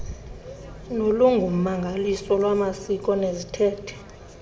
nolungummangaliso lwamasiko neziithethe